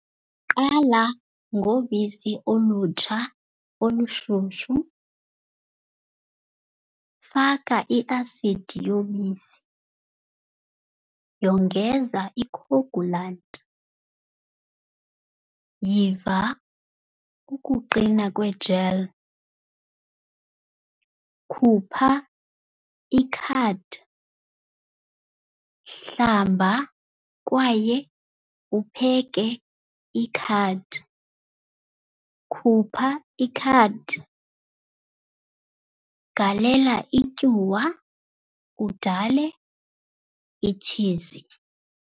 Qala ngobisi olutsha olushushu. Faka i-asidi yobisi, yongeza ikhowugulanti, yiva ukuqina kwe-gel, khupha ikhadi, hlamba kwaye upheke ikhadi, khupha ikhadi, galela ityuwa udale itshizi.